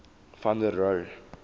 van der rohe